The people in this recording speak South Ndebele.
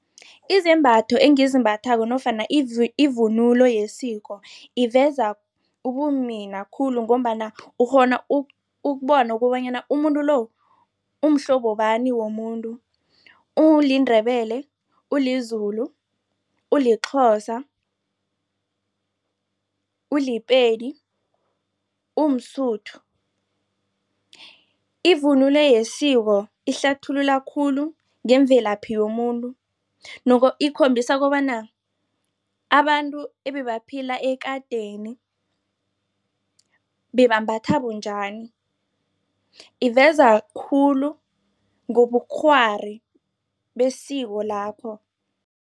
Izembatho engizimbathako nofana ivunulo yesiko iveza ubumina khulu, ngombana ukghona ukubona kobanyana umuntu lo umhlobo bani womuntu, uliNdebele, uliZulu, uliXhosa, uliPedi, umSotho. Ivunulo yesiko ihlathulula khulu ngemvelaphi yomuntu, ikhombisa kobana abantu ebebaphila ekadeni bebambatha bunjani. Iveza khulu ngobukghwari besiko lakho.